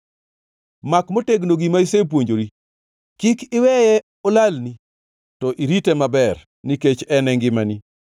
Mak motegno gima isepuonjori, kik iweye, olalni to irite maber, nikech en e ngimani.